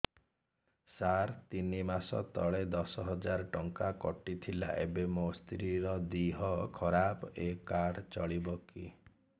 ସାର ତିନି ମାସ ତଳେ ଦଶ ହଜାର ଟଙ୍କା କଟି ଥିଲା ଏବେ ମୋ ସ୍ତ୍ରୀ ର ଦିହ ଖରାପ ଏ କାର୍ଡ ଚଳିବକି